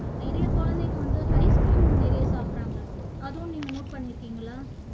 நிறைய குழந்தைங்க வந்து ice cream நிறைய சாப்பிடுறாங்க அதுவும் நீங்க note பண்ணியிருக்கீங்களா